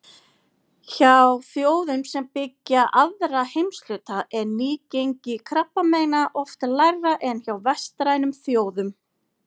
Hjá þjóðum sem byggja aðra heimshluta er nýgengi krabbameina oft lægra en hjá vestrænum þjóðum.